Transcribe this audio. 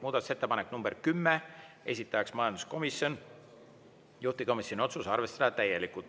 Muudatusettepanek nr 10, esitaja majanduskomisjon, juhtivkomisjoni otsus: arvestada täielikult.